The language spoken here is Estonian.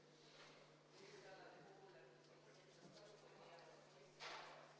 Nüüd ma palun valimiskomisjoni liikmetel asuda hääli lugema.